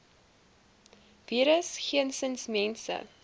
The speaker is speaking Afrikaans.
virus geensins mense